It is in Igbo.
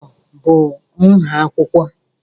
A4 bụ nha akwụkwọ.